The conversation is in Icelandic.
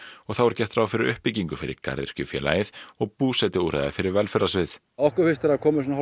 og þá er gert ráð fyrir uppbyggingu fyrir og búsetuúrræði fyrir velferðarsvið okkur finnst vera komið